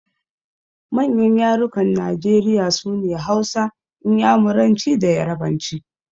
Manyan yarukan Najeriya sune Hausa, Inyamuranci da Yarabanci.